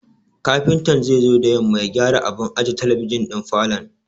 Kafintan zai zo da yamma ya gyara abun aje talabijin ɗin falon.